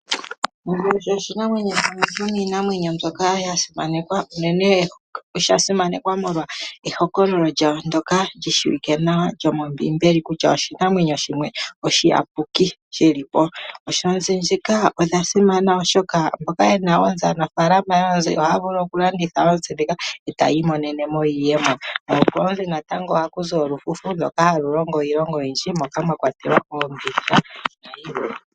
Onzi osho oshinamwenyo shimwe shomiinamwenyo mbyoka ya simanekwa, molwa ehokololo lyasho ndyoka li shiwike nawa lyomombiimbeli kutya oshinamwenyo shimwe oshiyapuki nkene shi li po. Aanafaalama yoozi ohaya vulu okudhi landitha po e taya imonene mo iiyemo. Koonzi ohaku wo olufufu ndoka halu longo iilonga oyindji moka mwa kwatelwa oombindja, nayilwe.